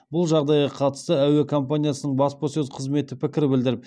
бұл жағдайға қатысты әуе компаниясының баспасөз қызметі пікір білдіріп